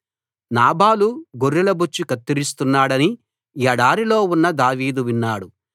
నాబాలు గొర్రెలబొచ్చు కత్తిరిస్తున్నాడని ఎడారిలో ఉన్న దావీదు విన్నాడు